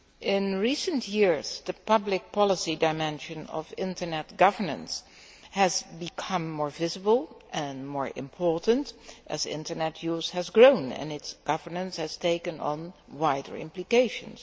In recent years the public policy dimension of internet governance has become more visible and more important as internet use has grown and its governance has taken on wider implications.